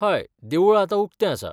हय, देवूळ आतां उक्तें आसा.